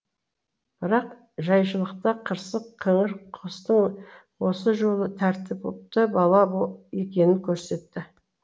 бірақ жайшылықта қырсық қыңыр костың осы жолы тәртіпті бала екенін көрсетті